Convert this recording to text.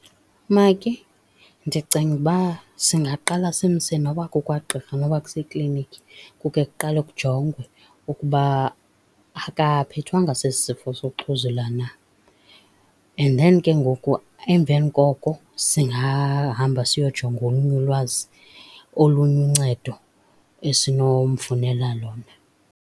Maki, ndicinga uba singaqala simse noba kukwagqirha noba kusekliniki kukhe kuqalwe kujongwe ukuba akaphethwanga sesi sifo zokuxhuzula na. And then ke ngoku emveni koko singahamba siyojonga olunye ulwazi, olunye uncedo esinomfunela lona.